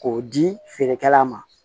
K'o di feerekɛla ma